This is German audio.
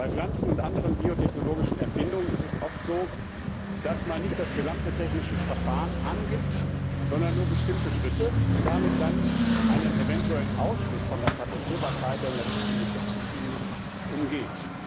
Bei Pflanzen und anderen biotechnologischen Erfindungen ist es oft so, dass man nicht das gesamte technische Verfahren angibt, sondern nur bestimmte Schritte, und damit dann einen eventuellen Ausschluss von der Patentierbarkeit, der in der Richtlinie festgeschrieben ist, umgeht.